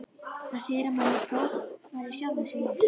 Að sigra mann í krók var í sjálfu sér list.